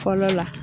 Fɔlɔ la